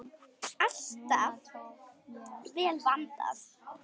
Alltaf vel vandað.